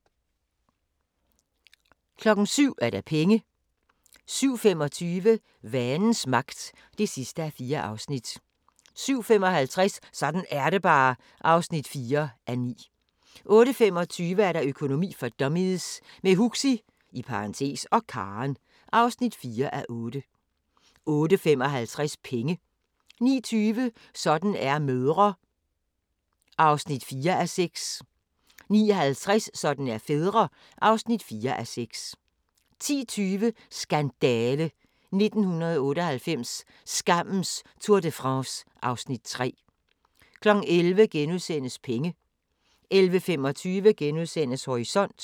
07:00: Penge 07:25: Vanens Magt (4:4) 07:55: Sådan er det bare (4:9) 08:25: Økonomi for dummies – med Huxi (og Karen) (4:8) 08:55: Penge 09:20: Sådan er mødre (4:6) 09:50: Sådan er fædre (4:6) 10:20: Skandale! - 1998, skammens Tour de France (Afs. 3) 11:00: Penge * 11:25: Horisont *